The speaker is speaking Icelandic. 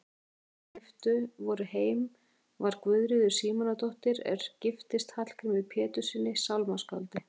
Þekktust þeirra sem keypt voru heim var Guðríður Símonardóttir er giftist Hallgrími Péturssyni sálmaskáldi.